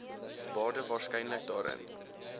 waarde waarskynlik daarin